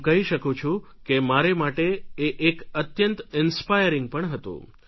હું કહી શકું છું કે મારે માટે એ એક અત્યંત ઇન્સ્પાયરીંગ પણ હતું